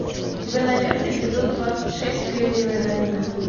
у тебя найдется эпизод двадцать шесть кремниевая долина